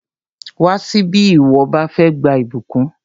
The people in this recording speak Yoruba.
Wá síbí bí ìwọ bá fẹ́ gba ìbùkún!